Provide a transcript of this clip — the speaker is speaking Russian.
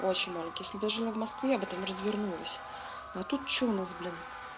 очень маленький если бы я жила в москве я бы там развернулась а тут что у нас блин